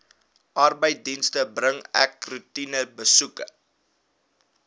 arbeidsdienste bring roetinebesoeke